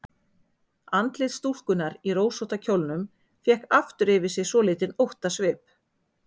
Andlit stúlkunnar í rósótta kjólnum fékk aftur yfir sig svolítinn óttasvip.